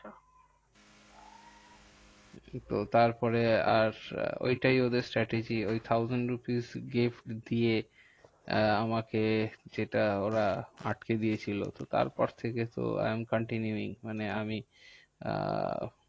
কিন্তু তারপরে আর ঐটাই ওদের strategy ওই thousand rupees gift দিয়ে আমাকে সেটা ওরা আটকে দিয়েছিলো। তারপর থেকে তো I am continuing. মানে আমি আহ